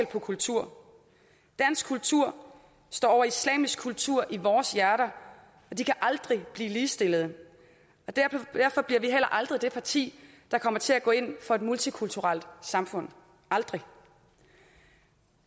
på kultur dansk kultur står over islamisk kultur i vores hjerter de kan aldrig blive ligestillede derfor bliver vi heller aldrig det parti der kommer til at gå ind for et multikulturelt samfund aldrig